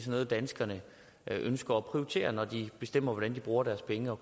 noget danskerne ønsker at prioritere når de bestemmer hvordan de bruger deres penge og